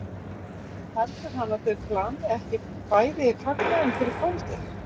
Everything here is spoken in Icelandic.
heldur hann að þau plani ekki bæði fagnaðinn fyrir kvöldið?